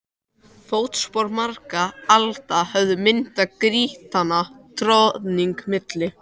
Fótspor margra alda höfðu myndað grýttan troðning milli